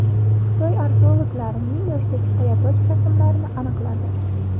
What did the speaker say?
Xitoy arxeologlari ming yoshdagi qoyatosh rasmlarini aniqladi.